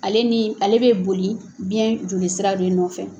Ale ni ale bɛ boli biyɛn joli sira de nɔfɛ.